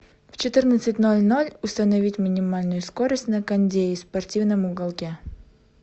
в четырнадцать ноль ноль установить минимальную скорость на кондее в спортивном уголке